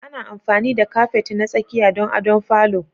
Ana amfani da kafet na tsakiya don adon falo.